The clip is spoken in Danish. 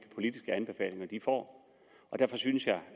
politiske anbefalinger de får og derfor synes jeg